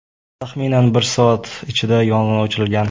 Taxminan bir soat ichida yong‘in o‘chirilgan.